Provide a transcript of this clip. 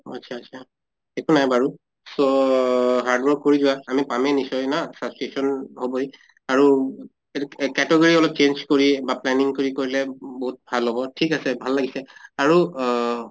আত্চ্ছা আত্চ্ছা একো নাই বাৰু। so hard work কৰি যোৱা, আমি পামে নিশ্চয় না subscription হʼবই । আৰু এতু এহ category অলপ change কৰি বা planning কৰি কৰিলে বহুত ভাল হʼব। ঠিক আছে, ভাল লাগিছে । আৰু অহ